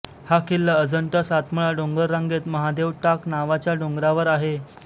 हा किल्ला अजंठा सातमाळ डोंगर रांगेत महादेव टाक नावाच्या डोंगरावर आहे